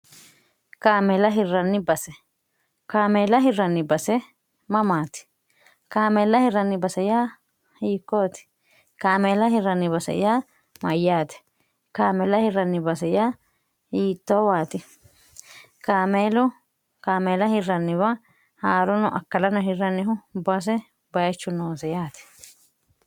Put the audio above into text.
kaameela hirranni base kaameela hirranni base mamaati kaameella hirranni base yaa hiikkooti kaameela hirranni base yaa mayyaate kaameela hirranni base yaa yiittoowaati kameelu kaameela hirranniwa haa'rono akkalano hirrannihu base bayichu noonse yaati